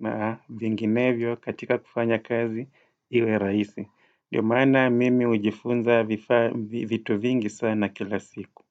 na vinginevyo katika kufanya kazi iwe rahisi. Ndio maana mimi hujifunza vitu vingi sana kila siku.